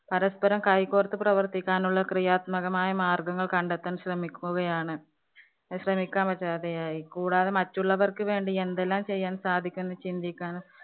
പരസ്പരം കൈകോര്‍ത്തു പ്രവത്തിക്കാനുള്ള ക്രിയാത്മകമായ മാര്‍ഗ്ഗങ്ങള്‍ കണ്ടെത്താന്‍ ശ്രമിക്കുകയാണ്~ശ്രമിക്കാന്‍ പറ്റാതെയായി. കൂടാതെ മറ്റുള്ളവര്‍ക്ക് വേണ്ടി എന്തെല്ലാം ചെയ്യാന്‍ സാധിക്കും എന്നു ചിന്തിക്കാന്‍